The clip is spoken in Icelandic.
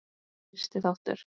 Fyrsti þáttur